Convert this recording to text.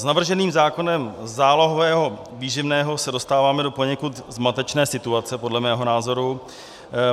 S navrženým zákonem zálohového výživného se dostáváme do poněkud zmatečné situace, podle mého názoru.